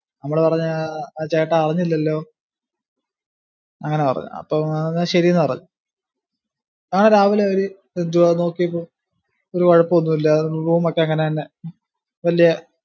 നമ്മള് പറഞ്ഞു, ആ ചേട്ടാ അറിഞ്ഞില്ലല്ലോ, അങ്ങിനെ പറഞ്ഞു. അപ്പം പറഞ്ഞു എന്നാ ആ ശരീന്ന് പറഞ്ഞു. അങ്ങിനെ പറഞ്ഞു. ഞാൻ രാവിലെ ഒരു നോക്കിയപ്പോ ഒരു കുഴപ്പം ഒന്നും ഇല്ലാതെ room ഒക്കെ അങ്ങിനെ തന്നെ വലിയ